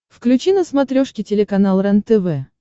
включи на смотрешке телеканал рентв